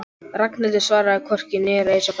Ragnhildur svaraði hvorki né reis á fætur.